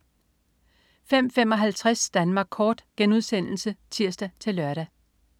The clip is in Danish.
05.55 Danmark kort* (tirs-lør)